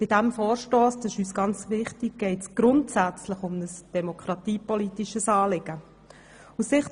Bei diesem Vorstoss geht es grundsätzlich um ein demokratiepolitisches Anliegen, und das ist uns ganz wichtig.